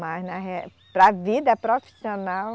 Mas, na re, para a vida profissional,